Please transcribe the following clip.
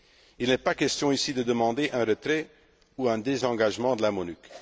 Il n'est pas question ici de demander un retrait ou un désengagement de la MONUC.